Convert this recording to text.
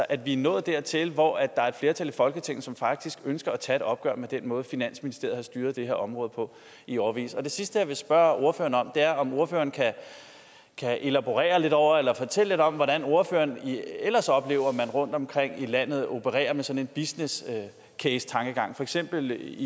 at vi er nået dertil hvor der er et flertal i folketinget som faktisk ønsker at tage et opgør med den måde finansministeriet har styret det her område på i årevis det sidste jeg vil spørge ordføreren om er om ordføreren kan kan elaborere lidt over eller fortælle lidt om hvordan ordføreren ellers oplever man rundtomkring i landet opererer med sådan en business case tankegang for eksempel